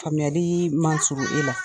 Faamuyali man surun e la